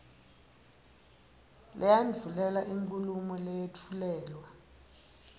leyandvulela inkhulumo leyetfulelwa